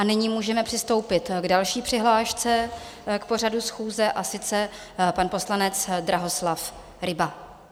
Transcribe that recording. A nyní můžeme přistoupit k další přihlášce k pořadu schůze, a sice pan poslanec Drahoslav Ryba.